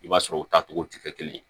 I b'a sɔrɔ u tacogo ti kɛ kelen ye